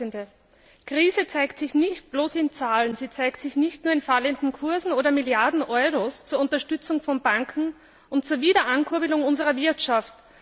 Die Krise zeigt sich nicht bloß in Zahlen, sie zeigt sich nicht nur in fallenden Kursen oder in Milliarden Euro zur Unterstützung von Banken und zur Wiederankurbelung unserer Wirtschaft.